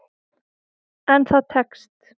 En það tekst.